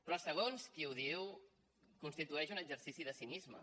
però segons qui ho diu constitueix un exercici de cinisme